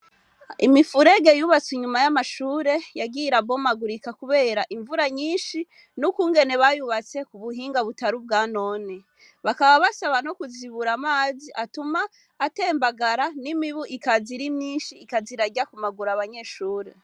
Imifurege yubatswe inyuma y'amashure yagiye irabomugurika kubera imvura nyinshi n'ukungene bayubatse ku buhinga butari ubwanone, bakaba basaba no kuzibura amazi atuma atembagara n'imibu ikaza ari myinshi ikaza irarya ku maguru abanyeshure.